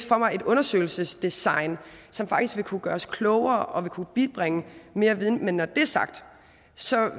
for mig et undersøgelsesdesign som faktisk vil kunne gøre os klogere og vil kunne bibringe mere viden men når det er sagt